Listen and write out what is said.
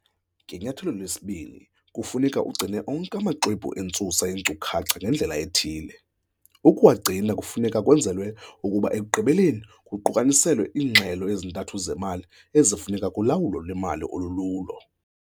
Ngenyathelo lesibini kufuneka ugcine onke amaxwebhu entsusa yeenkcukacha ngendlela ethile. Ukuwagcina kufuneka kwenzelwe ukuba ekugqibeleni kuqukaniselwe iingxelo ezintathu zemali ezifuneka kulawulo lwemali olululo.